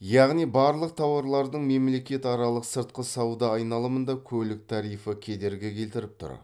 яғни барлық тауарлардың мемлекетаралық сыртқы сауда айналымында көлік тарифі кедергі келтіріп тұр